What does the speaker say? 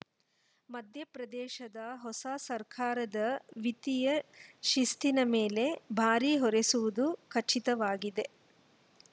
ಮಧ್ಯಪ್ರದೇಶದ ಹೊಸ ಸರ್ಕಾರದ ವಿತ್ತೀಯ ಶಿಸ್ತಿನ ಮೇಲೆ ಭಾರೀ ಹೊರೆಸುವುದು ಖಚಿತವಾಗಿದೆ